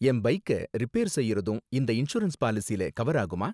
என் பைக்க ரிப்பேர் செய்யறதும் இந்த இன்சூரன்ஸ் பாலிசில கவர் ஆகுமா?